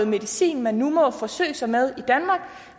medicin man må forsøge sig med